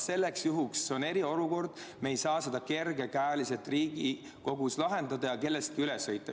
See on eriolukord, me ei saa seda Riigikogus kergekäeliselt lahendada ja kellestki üle sõita.